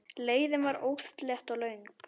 Leiðin var óslétt og löng.